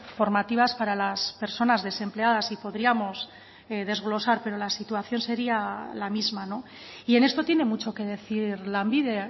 formativas para las personas desempleadas y podríamos desglosar pero la situación sería la misma y en esto tiene mucho que decir lanbide